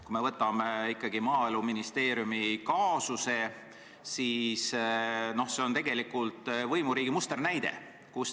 Kui me võtame Maaeluministeeriumi kaasuse, siis see on tegelikult võimuriigi musternäide.